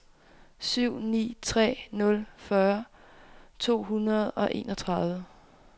syv ni tre nul fyrre to hundrede og enogtredive